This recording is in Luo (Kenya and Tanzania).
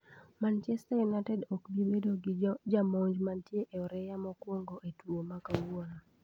Manchester United ok bi bedo gi jamonj mantie e oreya mokwongo e tugo ma kawuono.